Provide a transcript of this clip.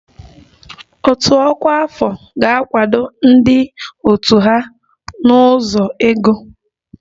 Òtù ọkwa afọ ga-akwado ndị òtù ha n'ụzọ ego